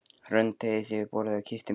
Hrönn teygði sig yfir borðið og kyssti mig.